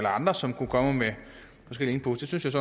andre som kunne komme med forskellige input det synes